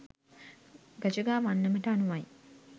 ගජගා වන්නමට අනුවයි.